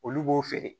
Olu b'o feere